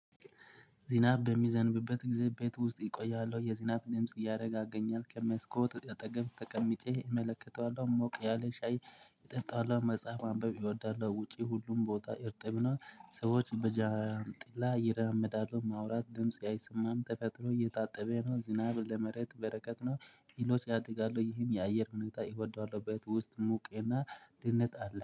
ዝናብ በሚዘንብበት ጊዜ ቤት ውስጥ እቆያለሁ። የዝናብ ድምጽ ያረጋገኛል። ከመስኮት አጠገብ ተቀምጨ እመለከተዋለሁ። ሞቅ ያለ ሻይ እጠጣለሁ። መጽሐፍ ማንበብ እወዳለሁ። ውጪ ሁሉም ቦታ እርጥብ ነው። ሰዎች በጃንጥላ ይራመዳሉ። ማውራት ድምጽ አይሰማም ተፈጥኖ እየጣጠበ ነው። ዝናብ ለመሬት በረከት ነው። እህሎች ያድጋሉ። ይሄን የአየር ሁኔታ እወደዋለሁ። ቤት ውስጥ ሙቅና ድህነት አለ።